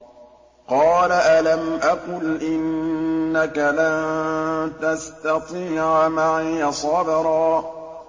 قَالَ أَلَمْ أَقُلْ إِنَّكَ لَن تَسْتَطِيعَ مَعِيَ صَبْرًا